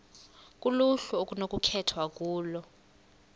kuluhlu okunokukhethwa kulo